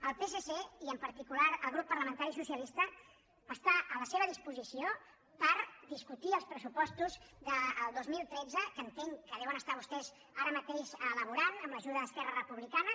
el psc i en particular el grup parlamentari socialista està a la seva disposició per discutir els pressupostos del dos mil tretze que entenc que deuen estar vostès ara mateix elaborant amb l’ajuda d’esquerra republicana